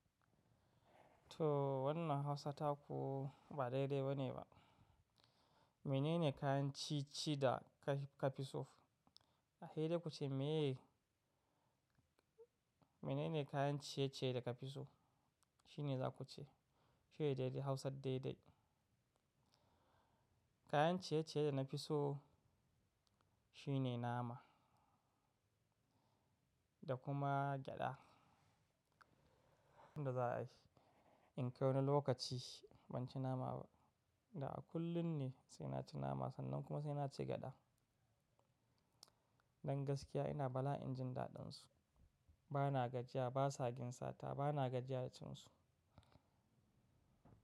Too wannan Hausa taku ba daidai ba ne ba. Mene ne kayan ciye-ciye da ka fi so? A hele kuce “Me?” Mene ne kayan ciye-ciye da ka fi so? Shine za kuce. Shine dai dai Hausar dai dai. Kayan ciye-ciye da na fi so shine nama da kuma gyada. Wanda za a yi. In kai wani lokaci ban ci nama ba. Da a kullum ne sai na ci nama sannan kuma sai na ci gyada. Don gaskiya ina bala injin daɗansu. Bana gajiya ba sagin sata bana gajiya cin su.